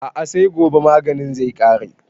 A'a sai gobe maganin zai ƙare